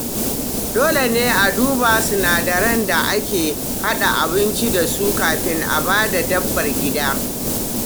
Dole ne a duba sinadaran da aka haɗa abinci da su kafin a ba dabbar gida.